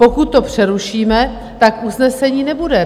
Pokud to přerušíme, tak usnesení nebude.